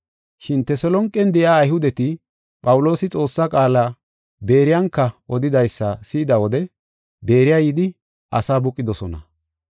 Shin Teselonqen de7iya Ayhudeti Phawuloosi Xoossaa qaala Beeriyanka odidaysa si7ida wode Beeriya yidi asaa buqidosona.